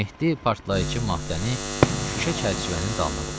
Mehdi partlayıcı maddəni şüşə çərçivənin dalına qoydu.